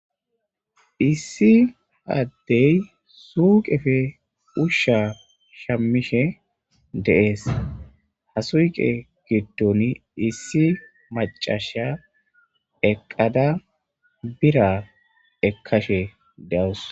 issi addey suuqefe ushsha shammishe deees hasuqe giddon issi macasha eqqada bira ekkashe de7os